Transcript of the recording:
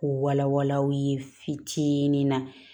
K'u wala wala aw ye fitinin na